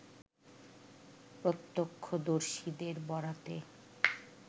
প্রত্যক্ষদর্শীদের বরাতে